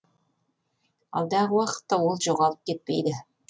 алдағы уақытта ол жоғалып кетпейді